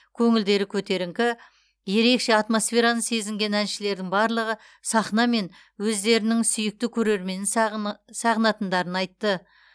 көңілдері көтеріңкі ерекше атмосфераны сезінген әншілердің барлығы сахна мен өздерінің сүйікті көрерменін сағынатындарын айтты